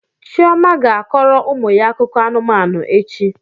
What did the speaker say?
Chioma ga-akọrọ ụmụ ya akụkọ anụmanụ echi.